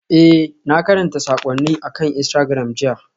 Ee, na karanta saƙonnin akan Instagram jiya.